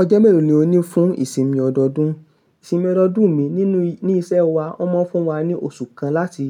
Ọjọ́ melo ni o ní fún ìsinmi ọdọọdún. Ìsinmi ọdọọdún mi nínú ile iṣẹ́ wa, wọ́n máa n fún wa ní oṣù kan láti